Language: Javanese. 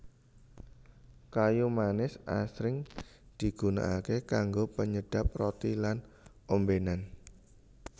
Kayu manis asring digunakaké kanggo penyedhep roti lan ombénan